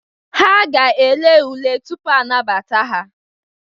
Ha ga-ele ule tupu a nabata ha.